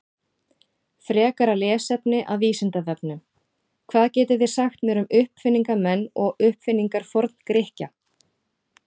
Frekara lesefni af Vísindavefnum: Hvað getið þið sagt mér um uppfinningamenn og uppfinningar Forngrikkja?